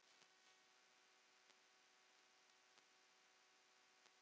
Lillý: Er eitthvað sérstakt þar?